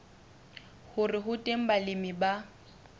hore ho teng balemi ba